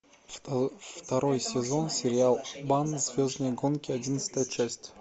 второй сезон сериал обан звездные гонки одиннадцатая часть